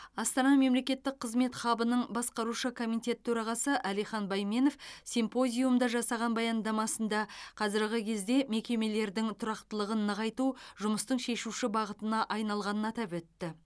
астана мемлекеттік қызмет хабының басқарушы комитет төрағасы алихан байменов симпозиумда жасаған баяндамасында қазіргі кезде мекемелердің тұрақтылығын нығайту жұмыстың шешуші бағытына айналғанын атап өтті